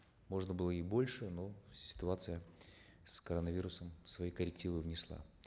можно было и больше но ситуация с коронавирусом свои коррективы внесла